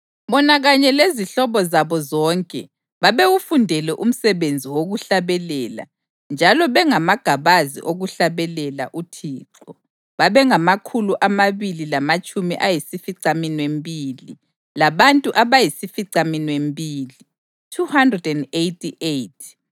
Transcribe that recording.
Bona kanye lezihlobo zabo zonke babewufundele umsebenzi wokuhlabelela njalo bengamagabazi okuhlabelela uThixo, babengamakhulu amabili lamatshumi ayisificaminwembili labantu abayisificaminwembili (288).